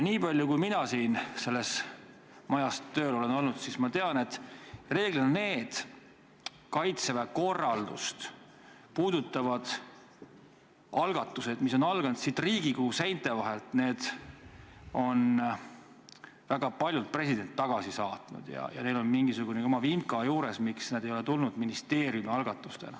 Mina siin selles majas tööl olles olen teada saanud, et nendest Kaitseväe korraldust puudutavatest algatustest, mis on alanud siit Riigikogu seinte vahelt, on president väga paljud tagasi saatnud ja neil on mingisugune oma vimka juures, miks nad ei ole tulnud ministeeriumi algatustena.